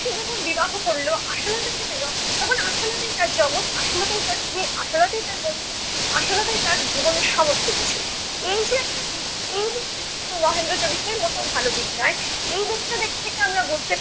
সে যখন বিবাহ করল আশালতাকে পেল তখন আশালতাই তার জগত, আশালতাই তার স্ত্রী, আশালতাই তার বন্ধু, আশালতাই তার জীবনের সমস্ত কিছু। এই যে একটা দিক, এই দিকটা কিন্তু মহেন্দ্রের চরিত্রের মোটেই ভাল দিক নয়। এই দিকটার দিক থেকে আমরা বলতে পারি